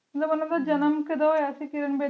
ਤੇ ਉਨੀ ਸੋ ਨੜਿੰਨਵੇ